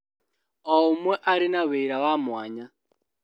O ũmwe arĩ na wĩra wa mwanya